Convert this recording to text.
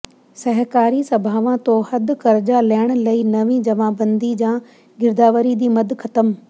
ਸਹਿਕਾਰੀ ਸਭਾਵਾਂ ਤੋਂ ਹੱਦ ਕਰਜ਼ਾ ਲੈਣ ਲਈ ਨਵੀਂ ਜਮ੍ਹਾਂਬੰਦੀ ਜਾਂ ਗਿਰਦਾਵਰੀ ਦੀ ਮੱਦ ਖ਼ਤਮ